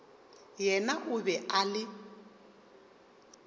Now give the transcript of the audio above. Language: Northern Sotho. yena o be a le